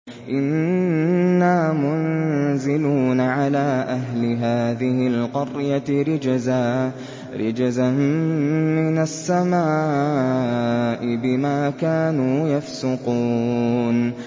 إِنَّا مُنزِلُونَ عَلَىٰ أَهْلِ هَٰذِهِ الْقَرْيَةِ رِجْزًا مِّنَ السَّمَاءِ بِمَا كَانُوا يَفْسُقُونَ